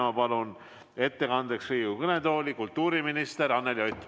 Ma palun ettekandeks Riigikogu kõnetooli kultuuriminister Anneli Oti.